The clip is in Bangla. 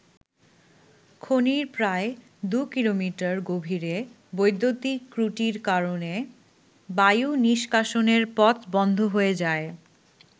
খনির প্রায় দু কিলোমিটার গভীরে বৈদ্যুতিক ত্রুটির কারণে বায়ু নিষ্কাশনের পথ বন্ধ হয়ে যায়।